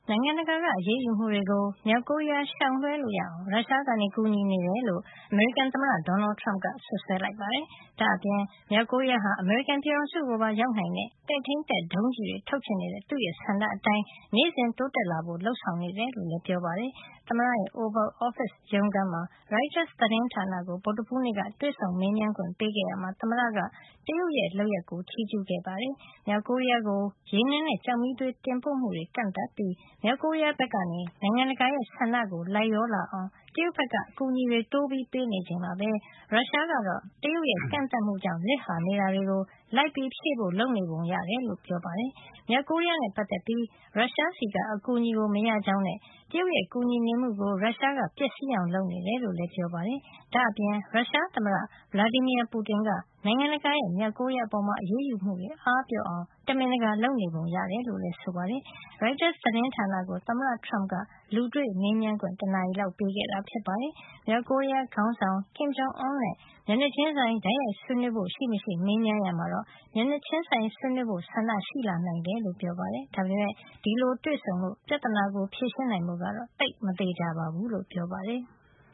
ိုင်ငံတကာက အရေးယူမှုတွေကို မြောက်ကိုရီးယား ရှောင်လွှဲလို့ရအောင် ရုရှားက ကူညီနေတယ်လို့ အမေရိကန် သမ္မတ Donald Trump က စွပ်စွဲလိုက်ပါတယ်။ ဒါ့အပြင် မြောက်ကိုရီးယားဟာ အမေရိကန်ပြည်ထောင်စုကိုပါ ရောက်နိုင်တဲ့ ပဲ့ထိမ်းတပ် ဒုံးကျည်တွေ ထုတ်ချင် နေတဲ့ သူ့ဆန္ဒအတိုင်း နေ့စဉ်တိုးတက်လာဖို့ လုပ်နေတယ်လို့ လည်း ပြောပါတယ်။ သမ္မတရဲ့ Oval Office ရုံးခန်းမှာ ရိုက်တားစ် သတင်းဌာနကို ဗုဒ္ဓဟူးနေ့ က တွေ့ဆုံမေးမြန်းခွင့် ပေးခဲ့ရာမှာ သမ္မတက တရုတ်ရဲ့ လုပ်ရပ်ကို ချီးကြူးခဲ့တာပါ။ မြောက်ကိုရီးယားကို ရေနံနဲ့ ကျောက်မီးသွေး တင်ပို့မှုတွေ ကန့်သတ်ပြီး မြောက်ကိုရီးယား ဘက်က နိုင်ငံတကာရဲ့ ဆန္ဒကို လိုက်လျောလာအောင် တရုတ်က အကူညီတွေ တိုးပေးနေချိန်မှာပဲ ရုရှားကတော့ တရုတ်ရဲ့ ကန့်သတ်မှုကြောင့် လစ်ဟာနေတာတွေကို လိုက်ဖြည့်ဖို့ လုပ်နေပုံရတယ်လို့ လည်း ပြောပါတယ်။ မြောက်ကိုရီးယား နဲ့ ပတ်သက်ပြီး ရုရှားဆီက အကူအညီကို မရကြောင်းနဲ့ တရုတ်ရဲ့ ကူညီနေမှုကို ရုရှားက ပျက်စီးအောင် လုပ်နေတယ် လို့လည်း ပြောပါတယ်။ ဒါ့အပြင် ရုရှားသမ္မတ Vladimir Putin က နိုင်ငံတကာရဲ့ မြောက်ကိုရီးယား အပေါ် အရေးယူမှုတွေ အားပျော့အောင် တမင်တကာ လုပ်နေပုံရတယ်လို့လည်း ဆိုပါတယ်။ ရိုက်တားစ် သတင်းဌာနကို သမ္မတ Trump က လူတွေ့မေးမြန်းခွင့် တနာရီလောက်ပေးခဲ့တာ ဖြစ်ပါတယ်။ မြောက်ကိုရီးယား ခေါင်းဆောင် Kim Jong-Un နဲ့ မျက်နှာချင်းဆိုင် တိုက်ရိုက်ဆွေးနွေးဖို့ ရှိမရှိမေးမြန်းရာမှာတော့ မျက်နှာချင်းဆိုင် ဆွေးနွေးဖို့ ဆန္ဒရှိလာနိုင်တယ်လို့ ပြောပါတယ်။ ဒါပေမယ့် အဲဒီလို တွေ့ဆုံလို့ ပြဿနာကို ဖြေရှင်းနိုင်ဖို့ကတော့ သိပ်မသေချာဘူးလို့ဆိုပါတယ်။